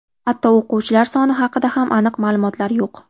Hatto o‘quvchilar soni haqida ham aniq ma’lumotlar yo‘q.